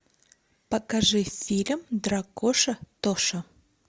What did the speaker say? покажи фильм дракоша тоша